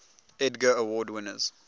edgar award winners